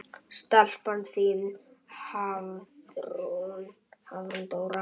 Stelpan þín, Hafrún Dóra.